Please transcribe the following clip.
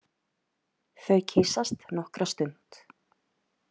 Þau kyssast nokkra stund.